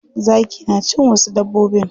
Zaki na cin wasu dabbobin.